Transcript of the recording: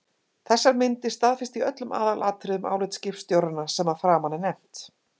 Þessar myndir staðfesta í öllum aðalatriðum álit skipstjóranna sem að framan er nefnt.